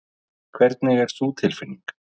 Hvernig er sú tilfinning?